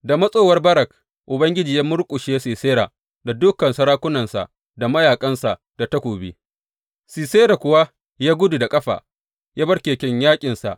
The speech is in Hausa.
Da matsowar Barak, Ubangiji ya murƙushe Sisera da dukan sarakunansa da mayaƙansa da takobi, Sisera kuwa ya gudu da ƙafa ya bar keken yaƙinsa.